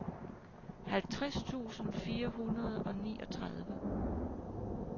halvtreds tusind fire hundrede og niogtredive